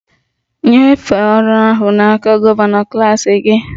Nyefee ọrụ ahụ n'aka gọvanọ klas gị!